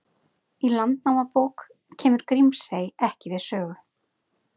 Í Landnámabók kemur Grímsey ekki við sögu.